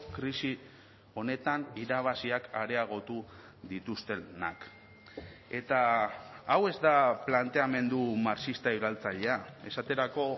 krisi honetan irabaziak areagotu dituztenak eta hau ez da planteamendu marxista iraultzailea esaterako